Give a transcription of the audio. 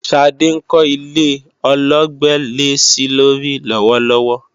Ṣadé ń kọ́ ilé ọlọ́gbẹ́lẹ́-sílórí lọ́wọ́lọ́wọ́